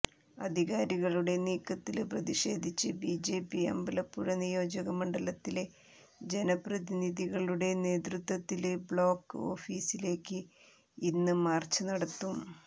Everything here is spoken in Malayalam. അധികാരികളുടെ നീക്കത്തില് പ്രതിഷേധിച്ച് ബിജെപി അമ്പലപ്പുഴ നിയോജക മണ്ഡലത്തിലെ ജനപ്രതിനിധികളുടെ നേതൃത്വത്തില് ബ്ലോക്ക് ഓഫീസിലേക്ക് ഇന്ന് മാര്ച്ച് നടത്തും